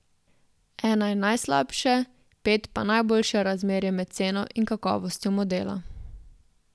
Ena je najslabše, pet pa najboljše razmerje med ceno in kakovostjo modela.